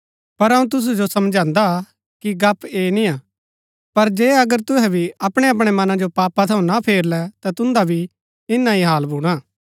पर अऊँ तुसु जो समझांदा कि गप्‍प ऐह निआ पर जे अगर तुहै भी अपणैअपणै मनां जो पापा थऊँ ना फेरलै ता तुन्दा भी इन्‍ना ही हाल भूणा